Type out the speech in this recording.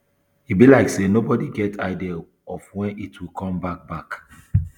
e be like say nobody get any idea of when it will come back back